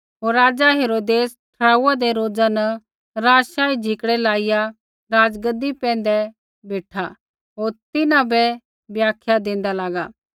होर राज़ा हेरोदेस ठहराऊऐ दै रोज़ा न राज़शाही झिकड़ै लाइआ राज़गद्दी पैंधै बेठा होर तिन्हां बै व्याख्या देंदा लागा